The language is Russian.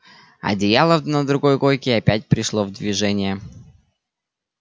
одеяло на другой койке опять пришло в движение